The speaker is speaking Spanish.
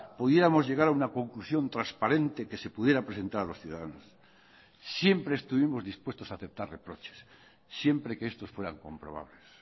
pudiéramos llegar a una conclusión transparente que se pudiera presentar a los ciudadanos siempre estuvimos dispuestos a aceptar reproches siempre que estos fueran comprobables